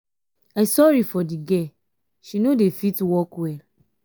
i sorry for the girl she no dey fit walk well.